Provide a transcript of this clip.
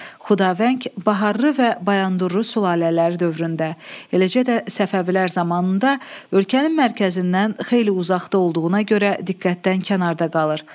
Xudavəng, Baharlı və Bayandurlu sülalələri dövründə, eləcə də Səfəvilər zamanında ölkənin mərkəzindən xeyli uzaqda olduğuna görə diqqətdən kənarda qalır.